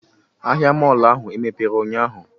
Ahịa mọọlụ ahụ emepere ụnyahụ?